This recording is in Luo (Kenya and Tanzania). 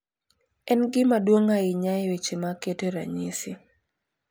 En gima duong’ ahinya e weche mag keto ranyisi.